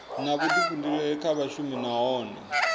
na vhuḓifhinduleli kha vhashumi nahone